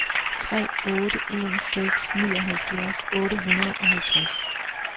tre otte en seks nioghalvfjerds otte hundrede og halvtreds